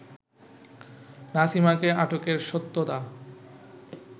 নাসিমাকে আটকের সত্যতা